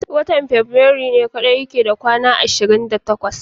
Watan fabirairu ne kadai yake kwana 28.